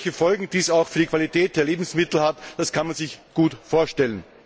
Welche Folgen dies auch für die Qualität der Lebensmittel hätte, kann man sich gut vorstellen.